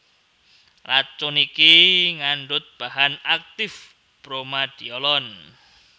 Racun iki ngandhut bahan aktif Bromadiolon